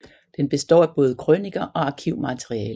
Den består af både krøniker og arkivmateriale